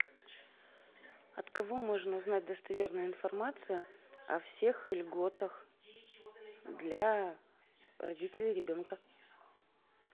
от кого можно узнать достоверную информацию о всех льготах для родителей ребенка